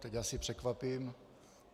Teď asi překvapím.